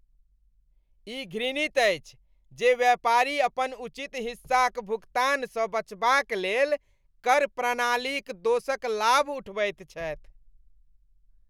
ई घृणित अछि जे व्यापारी अपन उचित हिस्साक भुगतानसँ बचबाक लेल कर प्रणालीक दोषक लाभ उठबैत छथि।